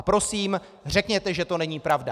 A prosím, řekněte, že to není pravda.